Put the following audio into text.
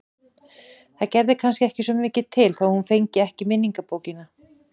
Það gerði kannski ekki svo mikið til þó að hún fengi ekki minningabókina.